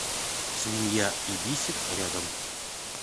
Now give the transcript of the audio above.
свинья и бисер рядом